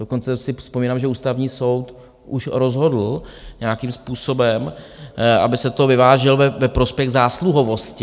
Dokonce si vzpomínám, že Ústavní soud už rozhodl nějakým způsobem, aby se to vyvážilo ve prospěch zásluhovosti.